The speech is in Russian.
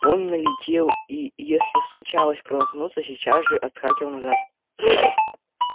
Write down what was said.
он налетел и если случалось промахнуться сейчас же отскакивал назад